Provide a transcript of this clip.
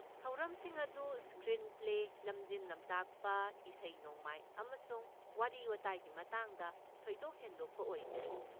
ꯊꯧꯔꯝꯁꯤꯡ ꯑꯗꯨ ꯁꯀ꯭ꯔꯤꯟꯄ꯭ꯂꯦ, ꯂꯝꯖꯤꯡ ꯂꯝꯇꯥꯛꯄ, ꯏꯁꯩ ꯅꯣꯡꯃꯥꯏ ꯑꯃꯁꯨꯡ ꯋꯥꯔꯤ ꯋꯥꯇꯥꯏꯒꯤ ꯃꯇꯥꯡꯗ ꯊꯣꯏꯗꯣꯛ ꯍꯦꯟꯗꯣꯛꯄ ꯑꯣꯏꯈꯤ꯫